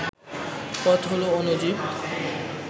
পথ হল অ্ণুজীব